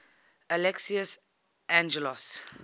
alexios angelos